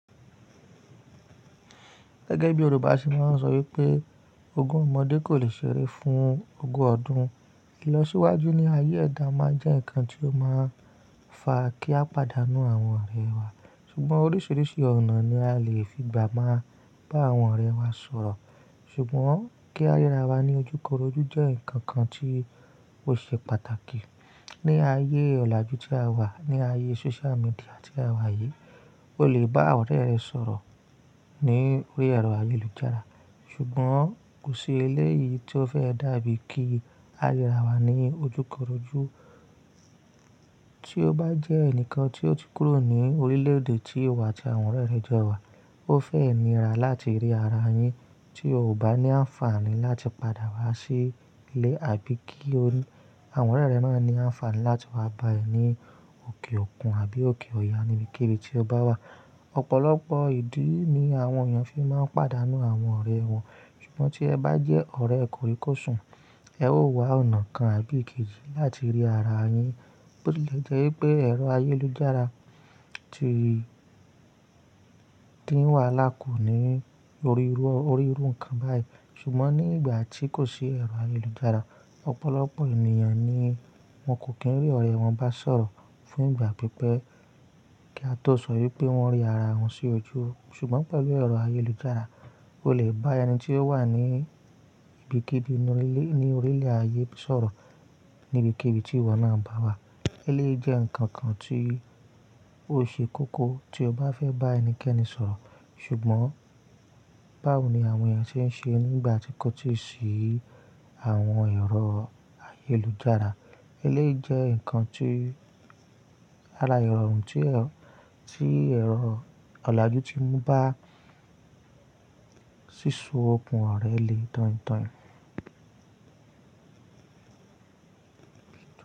Gẹ́gẹ́ bí Yorùbá ṣe máa ń sọ wípé ogún ọmọdé kò lè ṣeré fún ogún ọdún. Ìlọsíwájú ní ayé ẹ̀dá máa jẹ́ ǹkan tí ó máa ń fa kí a pàdánù àwọn ọ̀rẹ́ wa. Ṣùgbọ́n oríṣiríṣi ọ̀nà ni a lè fi gbà máa bá àwọn ọ̀rẹ́ wa sọ̀rọ̀. Ṣùgbọ́n kí a ríra wa ní ojúkorojú jẹ́ nǹkan kan tí ó ṣe pàtàkì. Ni ayé ọ̀làjú tí a wà, ní ayé social media tí a wà yìí, o lè bá àwọn ọ̀rẹ́ rẹ sọ̀rọ̀ ní orí ẹ̀rọ ayélujára. Ṣùgbọ́n kò sí eléyìí tí ó fẹ́ dàbí kí a ríra wa ní ojúkorojú. Tí o bá jẹ́ ẹnìkan tí o ti kúrò ní orílẹ̀ èdè tí ìwà àti àwọn ọ̀rẹ́ rẹ jọ wa, o fẹ́ nira láti rí ara yin tí o kò bá ní àǹfààní láti padà wá sí ilé àbí kí àwọn ọ̀rẹ́ rẹ náà ní àǹfààní láti wá bá ẹ ní òkè òkun àbí òkè ọya níbikíbi tí o bá wà. Ọ̀pọ̀lọpọ̀ ìdí ni àwọn èèyàn fi máa ń pàdánù àwọn ọ̀rẹ́ wọn. Ṣùgbọ́n tí ẹ bá jẹ́ ọ̀rẹ́ kòríkòsùn, ẹ ó wá ọ̀nà kan àbí èkejì láti rí ara yin. Ó lè jẹ́ wípé ẹ̀rọ ayélujára tí ń wà lákòó ní orí irú ǹkan báyìí. Ṣùgbọ́n nígbà tí kò sí ẹ̀rọ ayélujára, ọ̀pọ̀lọpọ̀ ènìyàn ni wọ́n kò kí ń rí ọ̀rẹ́ wọn bá sọ̀rọ̀ fún ìgbà pípẹ́ kí a tó sọ wípé wọ́n rí ara wọn sí ojú. Ṣùgbọ́n pẹ̀lú ẹ̀rọ ayélujára, o lè bá ẹni tí ó wà ní ibikíbi ní orílẹ̀ ayé sọ̀rọ̀ níbikíbi tí ìwọ náà bá wà. Eléyìí jẹ́ ǹkan kan tí ó ṣe kókó tí o bá fẹ́ bá ẹnikẹ́ni sọ̀rọ̀. Ṣùgbọ́n báwo ni àwọn èèyàn ṣe ń ṣe nígbà tí kò tíì sí àwọn ẹ̀rọ ayélujára? Eléyìí jẹ́ ǹkan tí ara ìrọ̀rùn tí ẹ̀rọ ọ̀làjú ti mú bá sísú okùn ọ̀rẹ́ le tán tán.